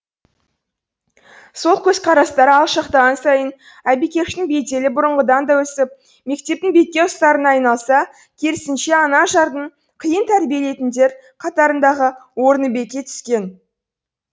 сол көзқарастары алшақтаған сайын айбикештің беделі бұрынғыдан да өсіп мектептің бетке ұстарына айналса керісінше анажардың қиын тәрбиеленетіндер қатарындағы орны беки түскен